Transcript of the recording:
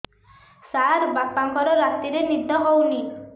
ସାର ବାପାଙ୍କର ରାତିରେ ନିଦ ହଉନି